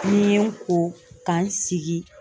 Ni n ye n ko ka n sigi.